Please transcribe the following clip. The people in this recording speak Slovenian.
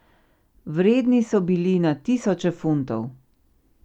Vredni so bili na tisoče funtov.